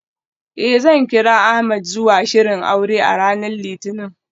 Eh, zan kira Ahmed zuwa shirin aure a ranar litinin.